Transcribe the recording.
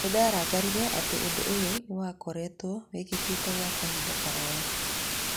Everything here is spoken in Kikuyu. Nĩndarakarĩre atĩ ũndũũyũnĩwakoretwo wĩkĩkĩte gwa kahinda karaya.